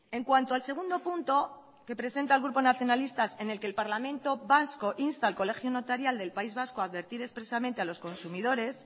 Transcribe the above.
en cuanto al segundo punto que presenta el grupo nacionalistas en el que el parlamento vasco insta al colegio notarial del país vasco a advertir expresamente a los consumidores